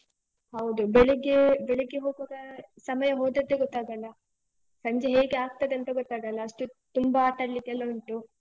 ಹೌದು. ಬೆಳಿಗ್ಗೇ, ಬೆಳಿಗ್ಗೆ ಹೋಗುವಾಗ ಸಮಯ ಹೋದದ್ದೇ ಗೊತ್ತಾಗಲ್ಲ. ಸಂಜೆ ಹೇಗೆ ಆಗ್ತದೆ ಅಂತ ಗೊತ್ತಾಗಲ್ಲ, ಅಷ್ಟು ತುಂಬ ಆಟಾಡ್ಲಿಕ್ಕೆಲ್ಲ ಉಂಟು.